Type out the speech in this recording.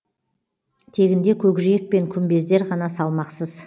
тегінде көкжиек пен күмбездер ғана салмақсыз